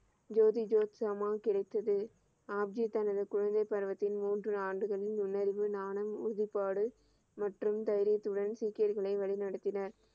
ஜோதி ஜோத் சமா கிடைத்தது, ஆப்ஜி தமது குழந்தை பருவத்தின் மூன்று ஆண்டுகளில் முன்னறியும் ஞானம் உறுதி பாடு மற்றும் தைரியத்துடன் சீக்கியர்களை வழி நடத்தினார்